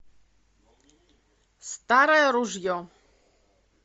старое ружье